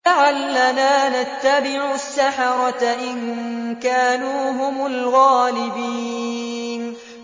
لَعَلَّنَا نَتَّبِعُ السَّحَرَةَ إِن كَانُوا هُمُ الْغَالِبِينَ